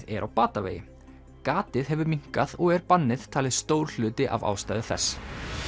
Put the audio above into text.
er á batavegi gatið hefur minnkað og er bannið talið stór hluti af ástæðu þess